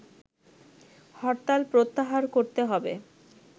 হরতাল প্রত্যাহার করতে হবে